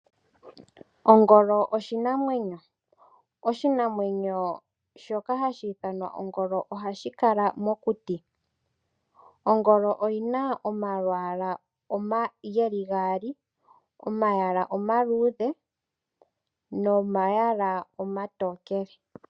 Ongolo oshinamwenyo. Oshinamwenyo shoka hashi ithanwa ongolo ohashi kala mokuti. Ongolo oyina omalwaala geli gaali. Omayala omaluudhe nomayala omatookele.